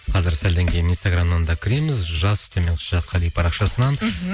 қазір сәлден кейін инстаграмнан да кіреміз жас төмен сызықша қали парақшасынан мхм